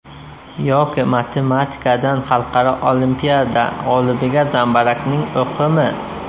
Yoki matematikadan xalqaro olimpiada g‘olibiga zambarakning o‘qimi?